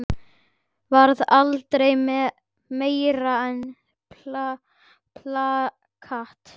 Varð aldrei meira en plakat.